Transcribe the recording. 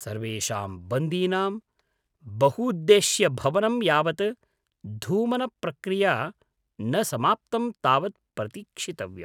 सर्वेषां बन्दीनां बहूद्देश्यभवनं यावत् धूमनप्रक्रिया न समाप्तं तावत् प्रतीक्षितव्यम्।